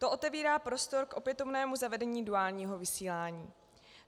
To otevírá prostor k opětovnému zavedení duálního vysílání.